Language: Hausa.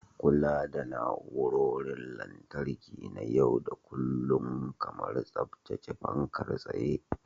Kula da na'urorin lantarki na yau da kullun, kamar tsaftace fankar tsaye.